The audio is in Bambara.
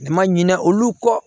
Dama ɲina olu kɔ